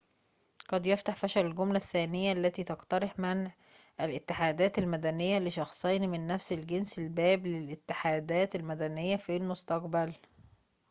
قد يفتح فشل الجملة الثانية التي تقترح منع الاتحادات المدنية لشخصين من نفس الجنس الباب للاتحادات المدنية في المستقبل